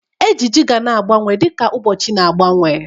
Ejiji ga na-agbanwe dịka ụbọchị na-agbanwe.